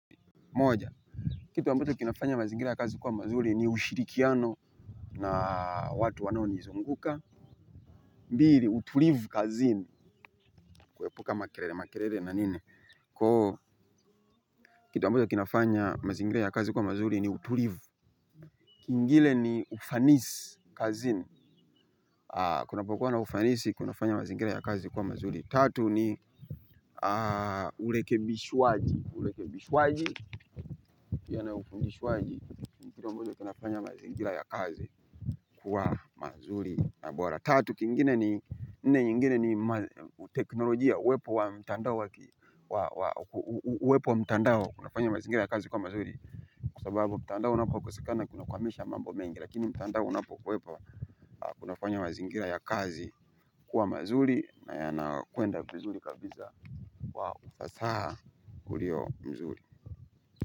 Moja, kitu ambacho kinafanya mazingira ya kazi kuwa mazuri ni ushirikiano na watu wanaonizunguka. Mbili, utulivu kazini, kuepuka makelele, makelele na nini. Kwa hiyo, kitu ambacho kinafanya mazingira ya kazi kuwa mazuri ni utulivu. Kingine ni ufanisi kazini. Kunapokuwa na ufanisi kunafanya mazingira ya kazi kuwa mazuri. Tatu ni urekebishwaji urekebishwaji pia na ufundishwaji. Ni kitu ambacho kinafanya mazingira ya kazi kuwa mazuri na bora. Tatu kingine ni nne nyingine ni teknolojia. Uwepo wa mtandao wa uwepo wa mtandao kunafanya mazingira ya kazi kuwa mazuri. Kwa sababu mtandao unapokosekana kunakwamisha mambo mengi lakini mtandao unapo kuwepo kunafanya mazingira ya kazi kuwa mazuri na yanakwenda vizuri kabisa kwa ufasaha ulio mzuri.